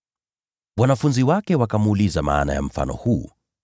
Wanafunzi wake wakamuuliza maana ya mfano huo.